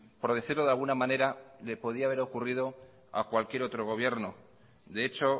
por decirlo de alguna manera le podría haber ocurrido a cualquier otro gobierno de hecho